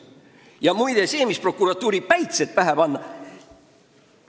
Ja muide, sellest prokuratuurile päitsete pähe panekust.